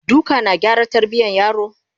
duka na gyara tarbiyan yaro?